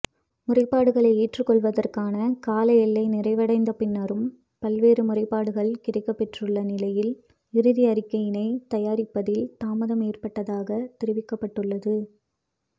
முறைப்பாடுகளை ஏற்றுக்கொள்வதற்கான காலஎல்லை நிறைவடைந்த பின்னரும் பல்வேறு முறைப்பாடுகள் கிடைக்கப்பெற்றுள்ள நிலையில் இறுதி அறிக்கையினை தயாரிப்பதில் தாமதம் ஏற்பட்டதாக தெரிவிக்கப்பட்டுள்ளது